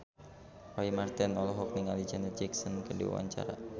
Roy Marten olohok ningali Janet Jackson keur diwawancara